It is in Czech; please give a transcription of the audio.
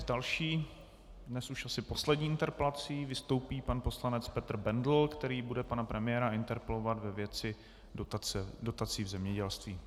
S další, dnes už asi poslední interpelací vystoupí pan poslanec Petr Bendl, který bude pana premiéra interpelovat ve věci dotací v zemědělství.